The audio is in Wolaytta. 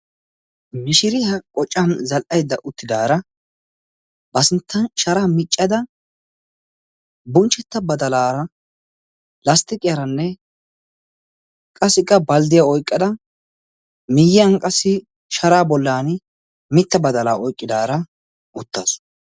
Mishiriyaa qocan zal77aidda uttidaara ba sinttan sharaa miccada bunchchetta badalaara lasttiqiyaaranne qassika balddiya oiqqada miiyyiyan qassi sharaa bollan mitta badalaa oiqqidaara uttaasu.